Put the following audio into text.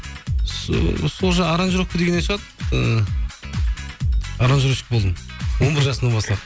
сол аранжировка дегеннен шығады ыыы аранжировщик болдым он бір жасымнан бастап